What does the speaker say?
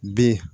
Bi